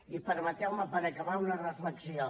i permeteu me per acabar una reflexió